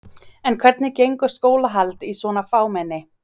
En hvernig gengur skólahald í svona fámenni?